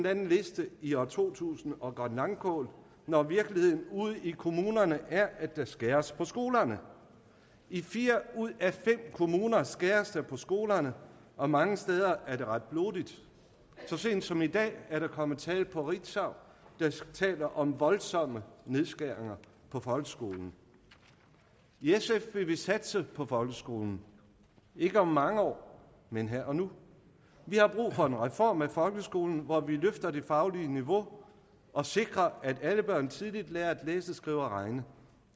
anden liste i år totusindoggrønlangkål når virkeligheden ude i kommunerne er at der skæres ned på skolerne i fire ud af fem kommuner skæres der ned på skolerne og mange steder er det ret blodigt så sent som i dag er der kommet tal fra ritzau der taler om voldsomme nedskæringer på folkeskolen i sf vil vi satse på folkeskolen ikke om mange år men her og nu vi har brug for en reform af folkeskolen hvor vi løfter det faglige niveau og sikrer at alle børn tidligt lærer at læse skrive og regne